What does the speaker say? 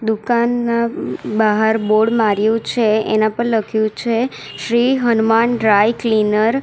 દુકાનના બહાર બોર્ડ માર્યું છે એના પર લખ્યું છે શ્રી હનુમાન ડ્રાય ક્લીનર .